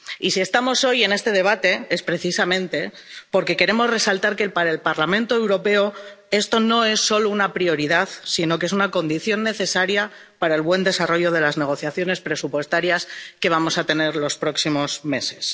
Y si estamos hoy en este debate es precisamente porque queremos resaltar que, para el Parlamento Europeo, esto no es solo una prioridad, sino que es una condición necesaria para el buen desarrollo de las negociaciones presupuestarias que vamos a tener los próximos meses.